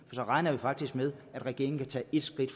så regner vi faktisk med at regeringen kan tage et skridt